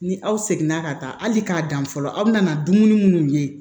Ni aw seginna ka taa hali k'a dan fɔlɔ aw bɛna na dumuni minnu ye